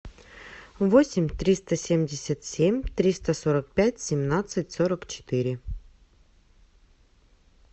восемь триста семьдесят семь триста сорок пять семнадцать сорок четыре